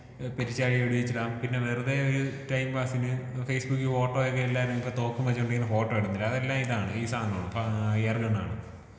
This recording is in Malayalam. ഏ പെരുച്ചാഴിയെ വെടി വെച്ചിടാം പിന്നെ വെറുതെ ഈ ടൈം പാസിന് ഫേസ്ബുക്കിൽ ഫോട്ടോ ഒക്കെ എല്ലാരും ഇപ്പോ തോക്കും വെച്ചോണ്ട് ഇങ്ങനെ ഫോട്ടോ ഇടുന്നുണ്ട്. അതെല്ലാം ഇതാണ് ഈ സാധനമാണ് എയർ ഗണ്ണാണ്.